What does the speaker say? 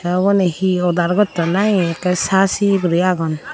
uboni he order gotton nahe ekke saci gori aagon.